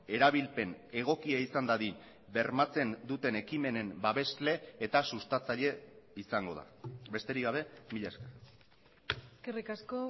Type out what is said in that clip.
erabilpen egokia izan dadin bermatzen duten ekimenen babesle eta sustatzaile izango da besterik gabe mila esker eskerrik asko